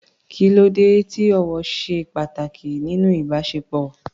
Kí ló dé tí ọ̀wọ̀ ṣe pàtàkì nínú ìbáṣepọ̀?